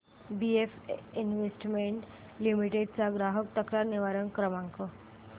BF investment limited चा ग्राहक तक्रार निवारण क्रमांक